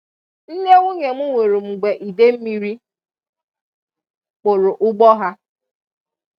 Nne nwụnye m nwụrụ mgbe idemmiri kpụrụ ụgbọ ha.